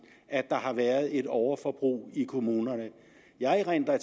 at der har været et overforbrug i kommunerne jeg erindrer at